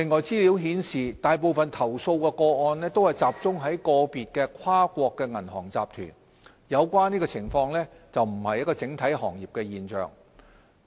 資料顯示，大部分投訴個案都集中在個別跨國銀行集團，有關情況並非整體行業的現象。